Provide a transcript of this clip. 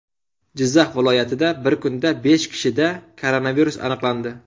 Jizzax viloyatida bir kunda besh kishida koronavirus aniqlandi.